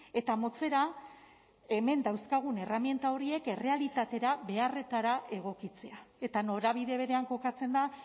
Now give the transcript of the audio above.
eta motzera hemen dauzkagun erraminta horiek errealitatera beharretara egokitzea eta norabide berean kokatzen da